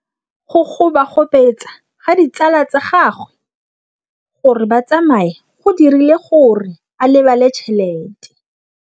Go gobagobetsa ga ditsala tsa gagwe, gore ba tsamaye go dirile gore a lebale tšhelete.